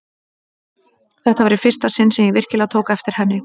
Þetta var í fyrsta sinn sem ég virkilega tók eftir henni.